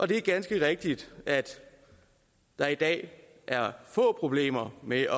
det er ganske rigtigt at der i dag er få problemer med